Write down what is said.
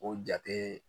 O jate